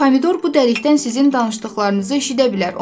Pomidor bu dəlikdən sizin danışdıqlarınızı eşidə bilər.